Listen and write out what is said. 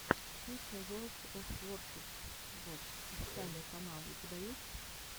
песня ворлд оф воршипс вовс официальный канал у тебя есть